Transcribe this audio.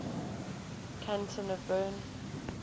canton of bern